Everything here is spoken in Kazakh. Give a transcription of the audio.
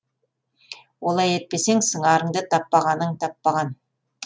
олай етпесең сыңарыңды таппағаның таппаған